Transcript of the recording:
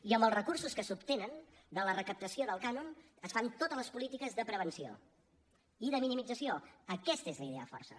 i amb els recursos que s’obtenen de la recaptació del cànon es fan totes les polítiques de prevenció i de minimització aquesta és la idea força